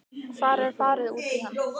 Hvar er farið út í hann?